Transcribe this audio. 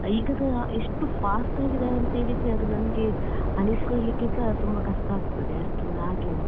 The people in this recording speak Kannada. ಈಗಸ ಎಷ್ಟು fast ಆಗಿದ್ದಾರೆ ಅಂತೇಳಿದ್ರೆ ಅದು ನಮ್ಗೆ ಅನಿಸ್ಕೊಳ್ಳಿಕ್ಕೆಸ ತುಂಬಾ ಕಷ್ಟ ಆಗ್ತದೆ ಅಷ್ಟು ಹಾಗೆ.